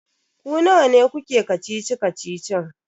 Ku nawa ne kuke kacici-kacicin?